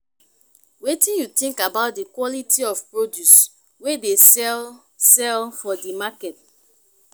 wetin you think about di quality of produce wey dey sell sell for di market?